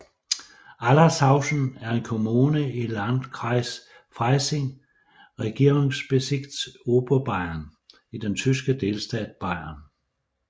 Allershausen er en kommune i Landkreis Freising Regierungsbezirk Oberbayern i den tyske delstat Bayern